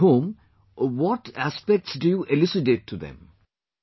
While at home what aspects do you elucidate to them